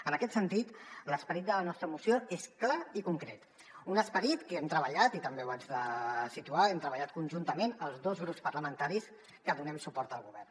en aquest sentit l’esperit de la nostra moció és clar i concret un esperit que hem treballat i també ho haig de situar conjuntament els dos grups parlamentaris que donem suport al govern